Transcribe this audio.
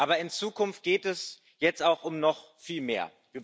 Aber in Zukunft geht es jetzt auch um noch viel mehr.